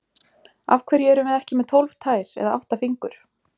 Af hverju erum við ekki með tólf tær eða átta fingur?